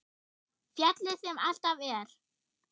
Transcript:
Fjallið sem alltaf er.